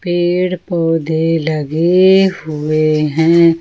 पेड़ पौधे लगे हुए हैं ।